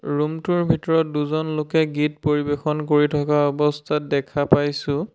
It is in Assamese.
ৰূমটোৰ ভিতৰত দুজন লোকে গীত পৰিৱেশন কৰি থকা অৱস্থাত দেখা পাইছোঁ।